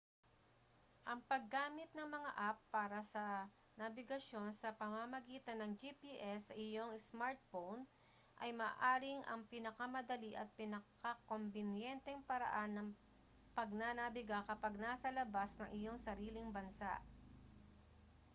ang paggamit ng mga app para sa nabigasyon sa pamamagitan ng gps sa iyong smartphone ay maaaring ang pinakamadali at pinakakombinyenteng paraan ng pagnanabiga kapag nasa labas ng iyong sariling bansa